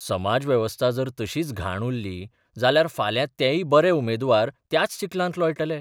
समाज वेवस्था जर तशीच घाण उरली जाल्यार फाल्यां तेय बरे उमेदवार त्याच चिखलांत लोळटले.